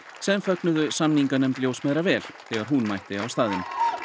sem fögnuðu samninganefnd ljósmæðra vel þegar hún mætti á staðinn